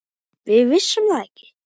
Við vissum það ekki.